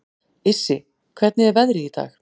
Issi, hvernig er veðrið í dag?